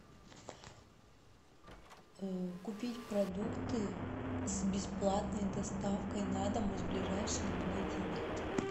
купить продукты с бесплатной доставкой на дом из блажайшего магазина